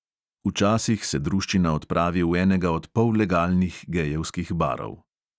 Včasih se druščina odpravi v enega od pollegalnih gejevskih barov.